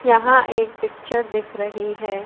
यहां एक पिक्चर दिख रही है।